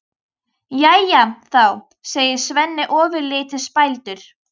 Jæja þá, segir Svenni ofurlítið spældur.